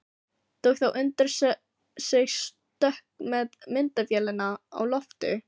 Tók þá undir sig stökk með myndavélina á lofti.